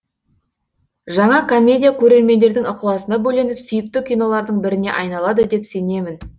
жаңа комедия көрермендердің ықыласына бөленіп сүйікті кинолардың біріне айналады деп сенемін